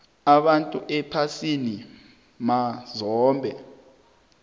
abantu ephasini mazombe